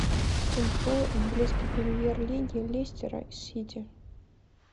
футбол английской премьер лиги лестера с сити